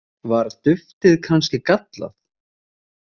Var duftið kannski gallað?